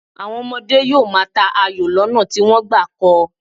Àwọn ọmọdé yóò máa ta ayò lọ́nà tí wọ́n gbà kọ́ ọ.